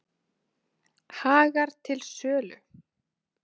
Hagar til sölu